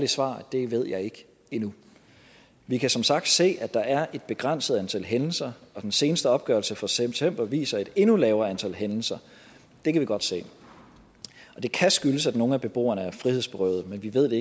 svar at det ved jeg ikke endnu vi kan som sagt se at der er et begrænset antal hændelser og den seneste opgørelse fra september viser et endnu lavere antal hændelser det kan vi godt se det kan skyldes at nogle af beboerne er frihedsberøvet men vi ved